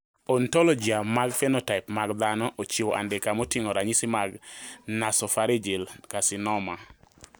Ontologia mar phenotype mag dhano ochiwo andika moting`o ranyisi mag Nasopharyngeal carcinoma.